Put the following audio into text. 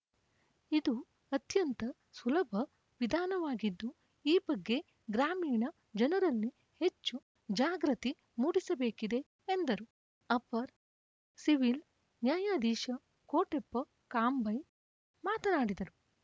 ಇದು ಅತ್ಯಂತ ಸುಲಭವಿಧಾನವಾಗಿದ್ದು ಈ ಬಗ್ಗೆ ಗ್ರಾಮೀಣ ಜನರಲ್ಲಿ ಹೆಚ್ಚು ಜಾಗೃತಿ ಮೂಡಿಸಬೇಕಿದೆ ಎಂದರು ಅಪರ್ ಸಿವಿಲ್‌ ನ್ಯಾಯಾಧೀಶ ಕೋಟೆಪ್ಪ ಕಾಂಬೈ ಮಾತನಾಡಿದರು